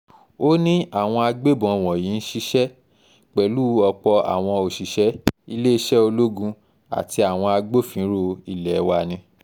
ó ní àwọn agbébọn wọ̀nyí ń ṣiṣẹ́ pẹ̀lú ọ̀pọ̀ àwọn òṣìṣẹ́ iléeṣẹ́ ológun àti àwọn agbófinró ilé wa ni